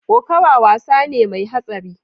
Kokawa wasa ne mai hatsari.